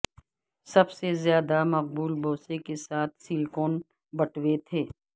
سب سے زیادہ مقبول بوسہ کے ساتھ سلیکون بٹوے تھے